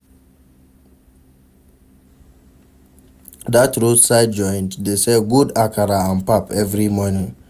Dat roadside joint dey sell good akara and pap every morning.